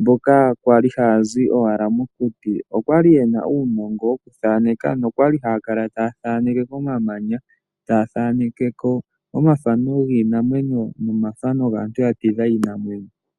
mboka kwali haya zi owala mokuti, okwali yena uunongo wokuthaaneka nokwali haa kala taa thankeke komamanya. Taa thaaneke ko omathano giinamwenyo nomathano gaantu ya tidha iinamwenyo.